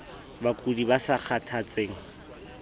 bakudi ba sa kgathatseng ie